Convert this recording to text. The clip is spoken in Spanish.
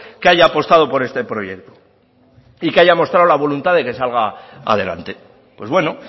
que haya apostado por este proyecto y que haya mostrado la voluntad de que salga adelante pues bueno